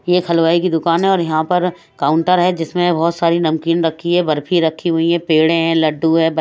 यह एक हलवाई की दुकान है और यहां पर काउंटर है जिसमें बहोत सारी नमकीन रखी है बर्फी रखी हुई है पेढे है लड्डू है --